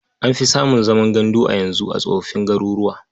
An fi samun zaman gandu a yanzu a tsofoffin garuruwa.